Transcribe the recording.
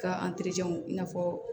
K'a i n'a fɔ